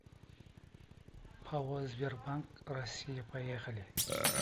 пао сбербанк россии поехали